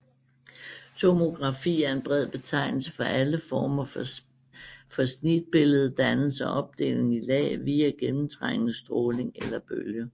Tomografi er en bred betegnelse for alle former for snitbilleddannelse og opdeling i lag via gennemtrængende stråling eller bølge